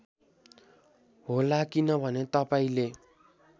होला किनभने तपाईँंले